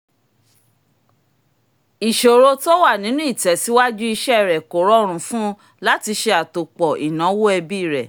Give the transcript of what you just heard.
ìsọ̀rọ̀ tó wà nínú ìtẹ̀síwájú iṣẹ́ rẹ̀ kó rọrùn fún un láti ṣe àtòpọ̀ ináwó ẹbí rẹ